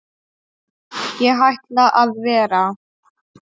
Ég ætla að vera.